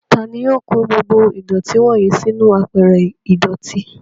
Tani yóò kó gbogbo ìdọ̀tí wọ́nyìí sínú àpẹrẹ ìdọ̀tí?